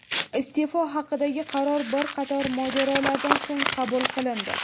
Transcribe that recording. Iste’fo haqidagi qaror bir qator mojarolardan so‘ng qabul qilindi.